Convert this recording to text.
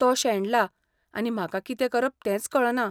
तो शेणला आनी म्हाका कितें करप तेंच कळना.